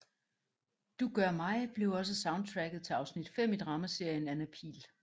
Du Gør Mig blev også soundtracket til afsnit 5 i dramaserien Anna Pihl